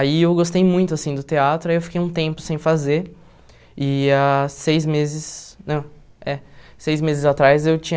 Aí eu gostei muito assim do teatro, aí eu fiquei um tempo sem fazer, e há seis meses, não, é, seis meses atrás eu tinha